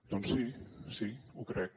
doncs sí sí ho crec